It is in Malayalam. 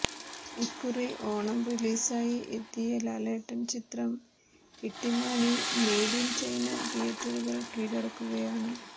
ഇക്കുറി ഓണം റിലീസായി എത്തിയ ലാലേട്ടൻ ചിത്രം ഇട്ടിമാണി മെയ്ഡ് ഇൻ ചൈന തിയേറ്ററുകൾ കീഴടക്കുകയാണ്